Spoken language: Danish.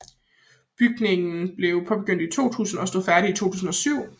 Bygningen blev påbegyndt i 2000 og stod færdig i 2007